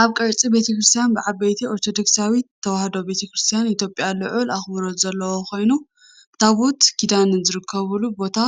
እዚ ቀጽሪ ቤተ ክርስቲያን ብሰዓብቲ ኦርቶዶክሳዊት ተዋህዶ ቤተ ክርስቲያን ኢትዮጵያ ልዑል ኣኽብሮት ዘለዎ ኮይኑ፡ ታቦት ኪዳን ዝርከበሉ ቦታ